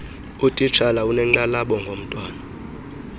utitshala unenkxalabo ngomntwana